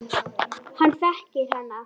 Hann þekkir hana.